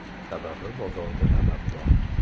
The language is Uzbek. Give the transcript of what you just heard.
Sababi bozorda talab bor.